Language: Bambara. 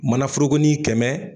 Manaforokonin kɛmɛ